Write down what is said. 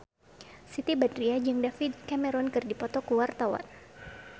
Siti Badriah jeung David Cameron keur dipoto ku wartawan